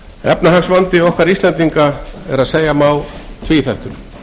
efnahagsvandi okkar íslendinga er að segja má tvíþættur